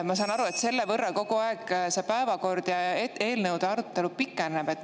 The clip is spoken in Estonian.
Ma saan aru, et selle võrra kogu aeg see päevakord pikeneb ja eelnõude arutelu.